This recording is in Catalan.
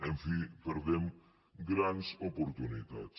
en fi perdem grans oportunitats